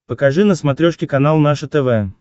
покажи на смотрешке канал наше тв